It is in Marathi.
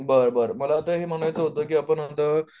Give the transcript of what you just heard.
बर बर मला आता हे म्हणायच होत की